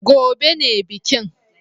Gobe ​​ne bikin